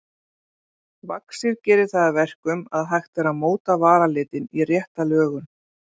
Vaxið gerir það að verkum að hægt er að móta varalitinn í rétta lögun.